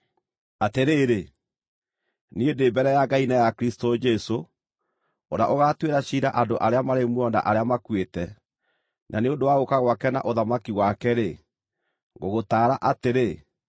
Atĩrĩrĩ, niĩ ndĩ mbere ya Ngai na ya Kristũ Jesũ, ũrĩa ũgaatuĩra ciira andũ arĩa marĩ muoyo na arĩa makuĩte, na nĩ ũndũ wa gũũka gwake na ũthamaki wake-rĩ, ngũgũtaara atĩrĩ: